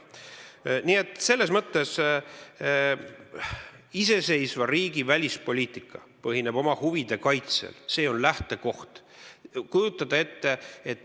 Iseseisva riigi välispoliitika põhineb oma huvide kaitsel – see on lähtekoht.